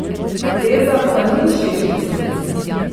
Poteza pa ni všeč desnici.